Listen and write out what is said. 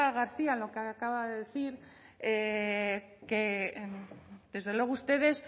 garcía en lo que acaba de decir que desde luego ustedes